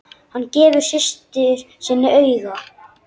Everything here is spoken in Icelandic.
Hann gefur systur sinni auga.